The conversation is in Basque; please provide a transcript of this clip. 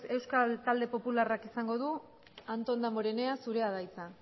euskal talde popularrak izango du antón damborenea zurea da hitza